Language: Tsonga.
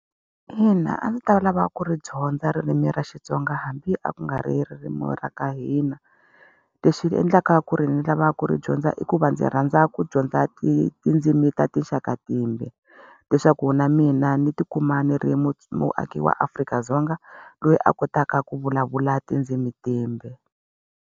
Ina a ndzi ta va lava ku ri dyondza ririmi ra Xitsonga hambi a ku nga ri ririmi ra ka hina. Lexi xi endlaka ku ri ni lava ku ri dyondza i ku va ndzi rhandza ku dyondza tindzimi ta tinxaka timbe. Leswaku na mina ni tikuma ni ri muaaki wa Afrika-Dzonga, loyi a kotaka ku vulavula tindzimi timbe.